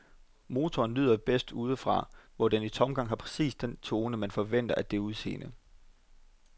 Motoren lyder bedst udefra, hvor den i tomgang har præcis den tone, man forventer med det udseende.